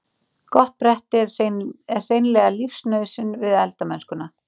Gott bretti er hreinlega lífsnauðsyn við eldamennskuna.